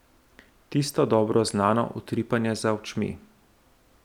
Tisto dobro znano utripanje za očmi.